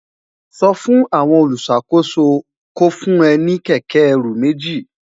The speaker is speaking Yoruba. sò fún àwon oluṣakoso kó fún ẹ ní kéké ẹrù méjì